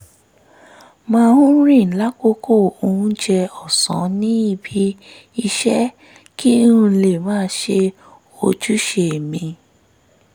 máa ń rìn lákòókò oúnjẹ ọ̀sán níbi iṣẹ́ kí n lè máa ṣe ojúṣe mi